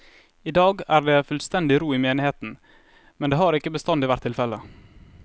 I dag er det fullstendig ro i menigheten, men det har ikke bestandig vært tilfelle.